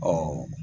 Ɔ